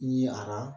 Ye ara